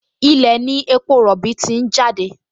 Ilẹ̀ ní epo rọ̀bì ti ń jáde